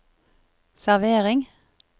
servering